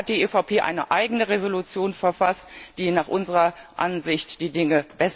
Deshalb hat die EVP eine eigene Entschließung verfasst, die nach unserer Ansicht die Dinge